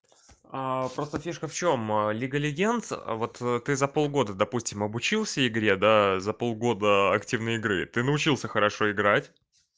просто фишка в чём лига легенд вот ты за полгода допустим обучился игре да за полгода активной игры ты научился хорошо играть